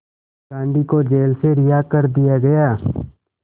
गांधी को जेल से रिहा कर दिया गया